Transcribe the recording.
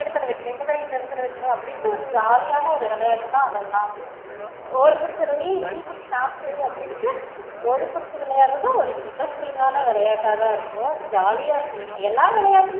இந்த காய் இந்த எடத்துல வைக்கணும் ய் இந்த எடத்துல வைக்கணும் அப்டி இண்ட்டு ஒரு ஜாலியான விளையாட்டு தா அதுலாமே ஓடி புடிச்சில ஏய் நீ புடி நா புடி அப்டி இண்ட்டு ஓடி புடிச்சி விளையாடறது ஒரு interest கான விளையாட்டாதா இருக்கும் ஜாலியா இருக்கும் எல்லார்